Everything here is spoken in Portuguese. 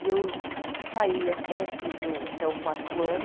E eu saí até, fiz o até o quarto ano.